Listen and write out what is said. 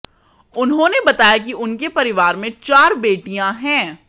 उन्होंने बताया कि उनके परिवार में चार बेटियां हैं